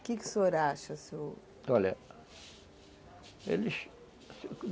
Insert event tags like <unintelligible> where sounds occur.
O que que o senhor acha? <unintelligible> olha